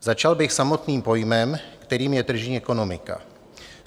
Začal bych samotným pojmem, kterým je tržní ekonomika.